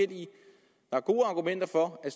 at gode argumenter for at